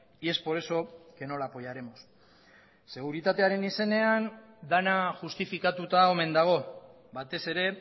y es por eso que no la apoyaremos seguritatearen izenean dena justifikatuta omen dago batez ere